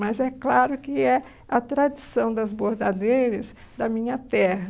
Mas é claro que é a tradição das bordadeiras da minha terra.